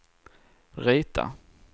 rita